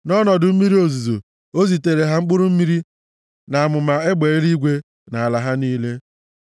Nʼọnọdụ mmiri ozuzo, o zitere ha mkpụrụ mmiri na amụma egbe eluigwe nʼala ha niile;